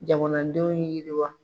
Jamanadenw yiriwa.